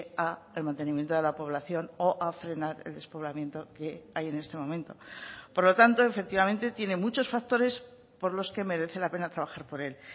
al mantenimiento de la población o a frenar el despoblamiento que hay en este momento por lo tanto efectivamente tiene muchos factores por los que merece la pena trabajar por él